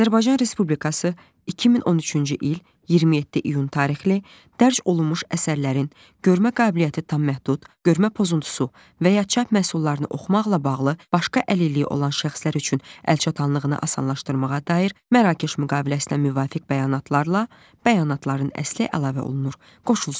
Azərbaycan Respublikası 2013-cü il 27 iyun tarixli dərc olunmuş əsərlərin görmə qabiliyyəti tam məhdud, görmə pozuntusu və ya çap məhsullarını oxumaqla bağlı başqa əlilliyi olan şəxslər üçün əl çatanlığını asanlaşdırmağa dair Mərakeş müqaviləsinə müvafiq bəyanatlarla, bəyanatların əsli əlavə olunur, qoşulsun.